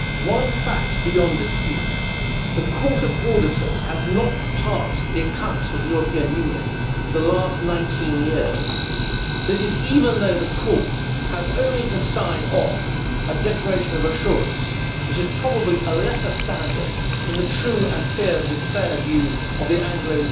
One fact is beyond dispute the Court of Auditors has not passed the accounts of the European Union for the last 19 years. This is even though the Court has only to sign off a declaration of assurance, which is probably a lessor standard than the true and fair view of the Anglo